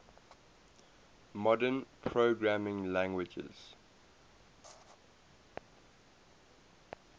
modern programming languages